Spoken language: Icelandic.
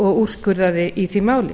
og úrskurðað í því máli